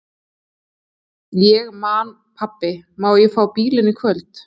Ég man Pabbi, má ég fá bílinn í kvöld?